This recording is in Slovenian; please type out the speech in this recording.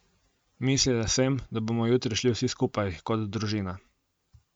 Mislila sem, da bomo jutri šli vsi skupaj, kot družina.